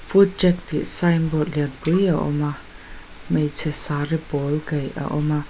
food track tih signboard lianpui a awm a hmeichhe saree pawl kaih a awm a.